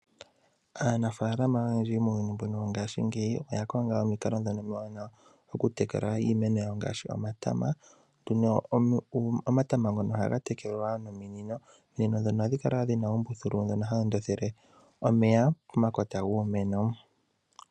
Aanafalama oyendji muuyuni wongashingeyi oya konga omikalo dhono omiwanawa okutekula iimeno yawo ngaashi omatama ,omatama ngono ohaga tekelwa nominino ominino dhono ohadhi kala wo dhina uumbuthulu mbono hawu tekele omeya pomakota giimeno.